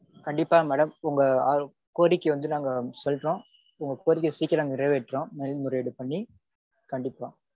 கண்டிப்பா madam. உங்களோட கோரிக்கை வந்து நாங்க சொல்றோம். உங்க கோரிக்கைய சீகிரம் நிறைவேற்றோம் மேல்முறையீடு பண்ணி கண்டிப்பா